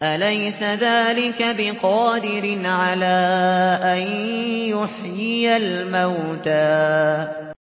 أَلَيْسَ ذَٰلِكَ بِقَادِرٍ عَلَىٰ أَن يُحْيِيَ الْمَوْتَىٰ